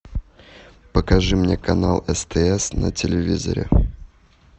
покажи мне канал стс на телевизоре